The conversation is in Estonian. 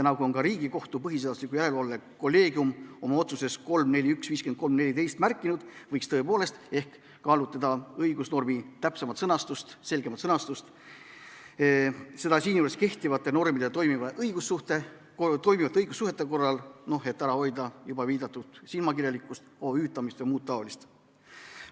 Nagu on ka Riigikohtu põhiseaduslikkuse järelevalve kolleegium oma otsuses 3-4-1-53-14 märkinud, võiks tõepoolest ehk kaalutleda õigusnormi täpsemat, selgemat sõnastust, seda kehtivate normide ja toimivate õigussuhete korral, et ära hoida juba viidatud silmakirjalikkust, OÜ-tamist ja muud taolist.